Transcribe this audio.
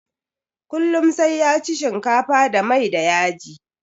Kullum sai ya ci shinkafa da mai da yaji